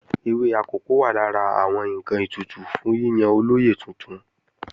Ewé akòko wà lára àwọn ǹkan ètùtù fún yíyan olóyè tuntun